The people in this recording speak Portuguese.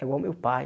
Igual o meu pai.